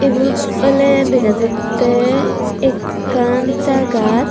yot oley dega jattey ekkan jagat.